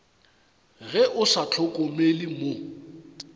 ge o sa hlokomele mo